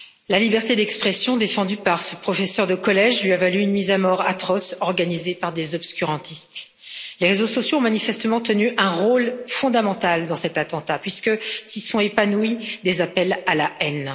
La liberté d'expression défendue par ce professeur de collège lui a valu une mise à mort atroce organisée par des obscurantistes. Les réseaux sociaux ont manifestement tenu un rôle fondamental dans cet attentat, puisque s'y sont épanouis des appels à la haine.